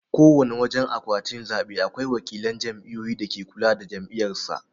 Kowana wajan akwatin zabe akwai wakilan jam'iyyu dake kula da jam'iyyar sa.